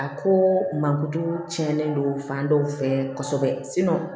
A ko mankutu tiɲɛni don fan dɔw fɛ kosɛbɛ